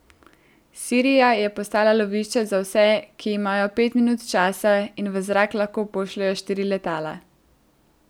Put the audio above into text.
Sirija je postala lovišče za vse, ki imajo pet minut časa in v zrak lahko pošljejo štiri letala.